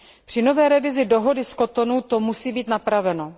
Při nové revizi Dohody z Cotonou to musí být napraveno.